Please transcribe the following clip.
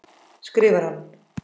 skrifar hann.